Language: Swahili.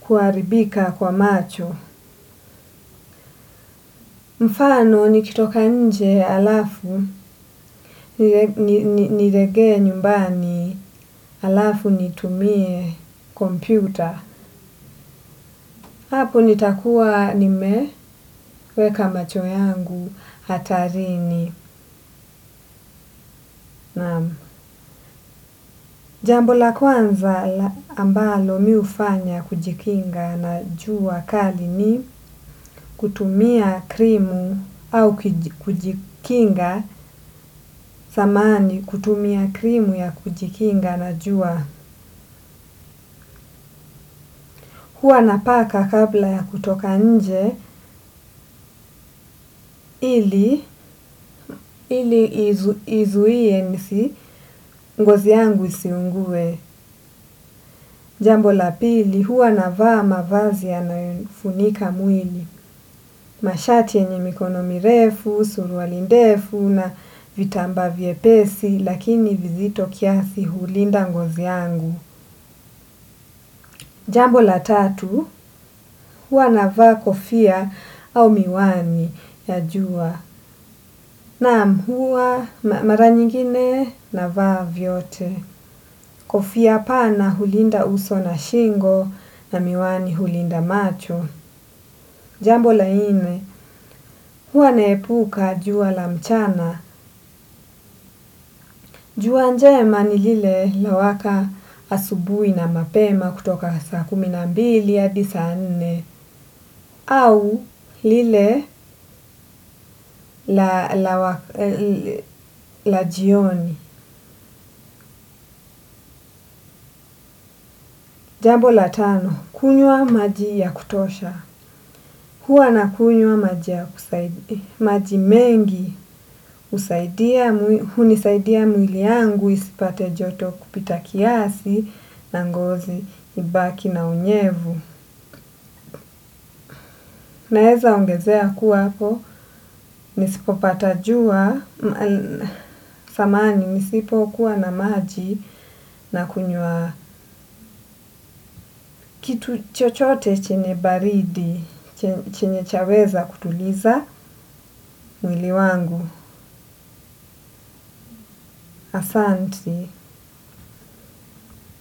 kuharibika kwa macho. Mfano nikitoka nje halafu nirejee nyumbani alafu nitumie kompyuta. Hapo nitakuwa nimeweka macho yangu hatarini naam jambo la kwanza ambalo mimi hufanya kujikinga na jua kali ni kutumia krimu au kujikinga. Samahani kutumia krimu ya kujikinga na jua. Huwa napaka kabla ya kutoka nje ili izuie nisi ngozi yangu isiungue. Jambo la pili huwa navaa mavazi yanayo nifunika mwili. Mashati yenye mikono mirefu, surwali ndefu na vitambaa vyepesi lakini vizito kiasi hulinda ngozi yangu. Jambo la tatu, huwa na vaa kofia au miwani ya jua, naam huwa mara nyingine navaa vyote, kofia pana hulinda uso na shingo na miwani hulinda macho. Jambo la nne, huwa nahepuka jua la mchana, juwa njema ni lile lawaka asubui na mapema kutoka saa kumi na mbili hadi saa nne au lile la jioni. Jambo la tano, kunywa maji ya kutosha. Huwa nakunywa maji mengi, hunisaidia mwili yangu isipate joto kupita kiasi na ngozi ibaki na unyevu. Naweza ongezea kuwa hapo, nisipopata jua, samani nisipo kuwa na maji na kunyua kitu chochote chenye baridi, chenye chaweza kutuliza mwili wangu, asanti.